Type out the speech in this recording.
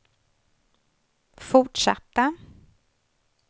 fortsatta